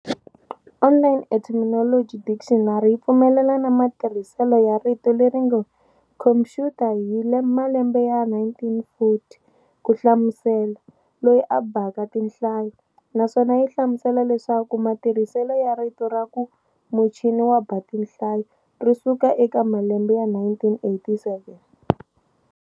"Online Etymology Dictionary" yi pfumelana na matirhisele ya rito leringe Khuompuyuta hi malembe ya 1940, kuhlamusela "loyi a bhaka tinhlayo", naswona yihlamusela leswaku matirhisele ya rito raku "muchini wabha tinhlayo" risukela eka malembe ya 1897.